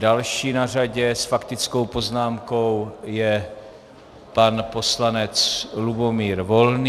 Další na řadě s faktickou poznámkou je pan poslanec Lubomír Volný.